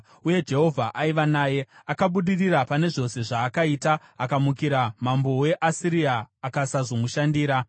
Uye Jehovha aiva naye; akabudirira pane zvose zvaakaita. Akamukira mambo weAsiria akasazomushandira.